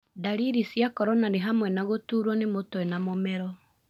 Ndariri cia corona nĩhamwe na gũtũrwo nĩ mũtwe na mũmero.